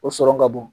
O sɔrɔ ka bon